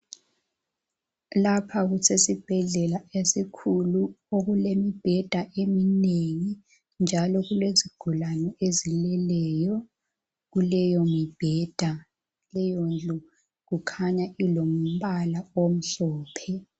Lapha kusesibhedlela esikhulu okulemibheda eminengi njalo kulezigulane ezileleyo kuleyo mbheda leyondlu kukhanya ilombala omhlophe.